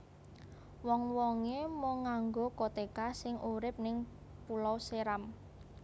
Wong wonge mung nganggo koteka sing urip ning Pulau Seram